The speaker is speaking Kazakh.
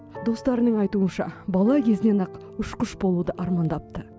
достарының айтуынша бала кезінен ақ ұшқыш болуды армандапты